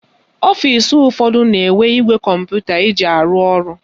Ọfisi ụfọdụ na-enwe igwe kọmputa eji arụ ọrụ.